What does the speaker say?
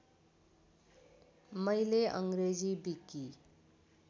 मैले अङ्ग्रेजी विकि